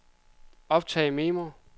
optag memo